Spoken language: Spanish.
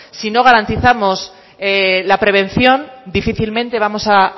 si no garantizamos la prevención difícilmente vamos a